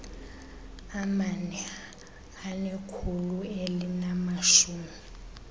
amane anekhulu elinamashumi